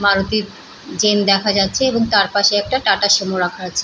Maruti Zen দেখা যাচ্ছে এবং তার পাশে একটা টাটা সুমো রাখা আছে।